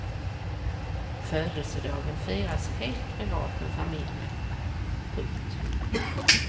Födelsedagen firas helt privat med familjen. punkt